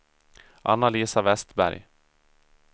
Anna-Lisa Vestberg